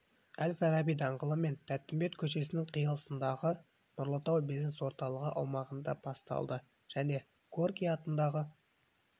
әл-фараби даңғылы мен тәттімбет көшесінің қиылысындағы нұрлы тау бизнес орталығы аумағында басталды және горький атындағы